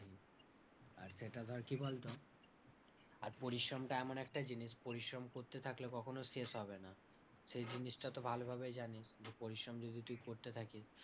আর এটা ধর কি বলতো আর পরিশ্রমটা এমন একটা জিনিস পরিশ্রম করতে থাকলে কখনোই শেষ হবে না, সেই জিনিসটা তো ভালোভাবেই জানিস। পরিশ্রম যদি তুই করতে থাকিস